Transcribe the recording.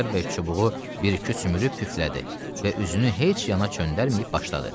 Xudayar bəy çubuğu bir-iki sümürüb püflədi və üzünü heç yana çöndərməyib başladı.